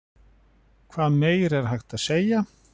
Hvað meira er hægt að segja?